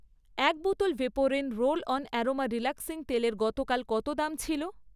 এক বোতল Vaporin roll on aroma relaxing তেলের গতকাল কত দাম ছিল?